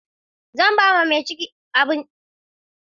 Zan ba wa mace mai ciki abinci gobe.